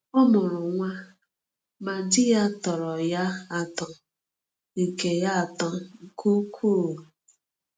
Ọ mụrụ nwa, ma di ya tọrọ ya atọ nke ya atọ nke ukwuu.